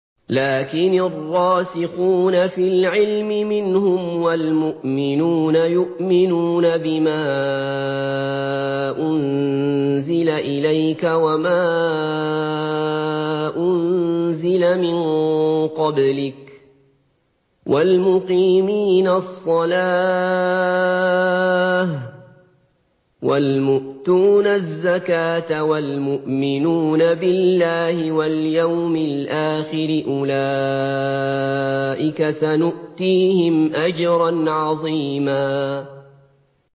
لَّٰكِنِ الرَّاسِخُونَ فِي الْعِلْمِ مِنْهُمْ وَالْمُؤْمِنُونَ يُؤْمِنُونَ بِمَا أُنزِلَ إِلَيْكَ وَمَا أُنزِلَ مِن قَبْلِكَ ۚ وَالْمُقِيمِينَ الصَّلَاةَ ۚ وَالْمُؤْتُونَ الزَّكَاةَ وَالْمُؤْمِنُونَ بِاللَّهِ وَالْيَوْمِ الْآخِرِ أُولَٰئِكَ سَنُؤْتِيهِمْ أَجْرًا عَظِيمًا